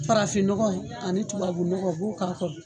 Farafin nɔgɔ ani tubabu nɔgɔ u b'u k'a kɔrɔ.